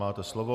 Máte slovo.